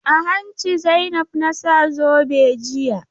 A hanci Zainab na sa zobe jiya.